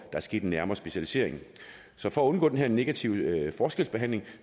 er sket en nærmere specialisering så for at undgå den her negative forskelsbehandling